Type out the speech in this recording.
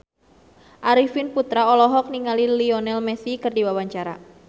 Arifin Putra olohok ningali Lionel Messi keur diwawancara